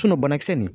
banakisɛ nin